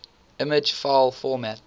image file format